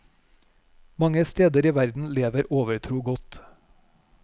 Mange steder i verden lever overtro godt.